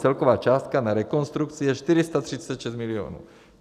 Celková částka na rekonstrukci je 436 milionů.